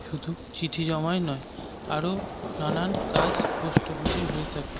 শুধু চিঠি জমাই নয় আরো নানান কাজ পোস্ট অফিস -এ হয়ে থাকে।